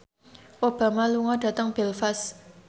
Obama lunga dhateng Belfast